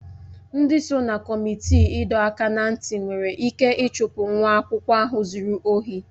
Ndị so na kọmitii ịdọ aka ná ntị nwere ike ịchụpụ nwa akwụkwọ ahụ zuru ohi